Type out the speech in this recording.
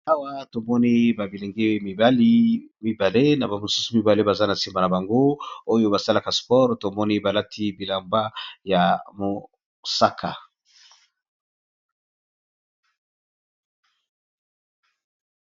awa tomoni babilenge mibali mibale na bamosusu mibale baza na nsima na bango oyo basalaka spore tomoni balati bilamba ya mosaka